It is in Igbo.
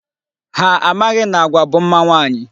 Ha amaghị na agwa bụ mma nwaanyị.